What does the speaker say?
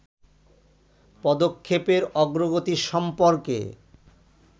পদক্ষেপের অগ্রগতি সম্পর্কে